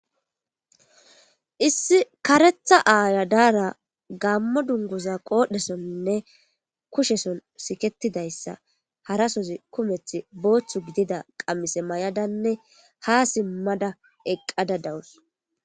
Issi kareta aya diyaragamo dunguza qoresonine kusheson siketida hara sohoti kumeti boththa giddiza qamise mayadane ha simada eqqada